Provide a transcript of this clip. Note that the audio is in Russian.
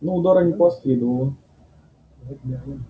но удара не последовало